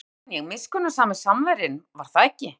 Já, nú man ég: miskunnsami Samverjinn, var það ekki?